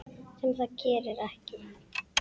Sem það gerði ekki.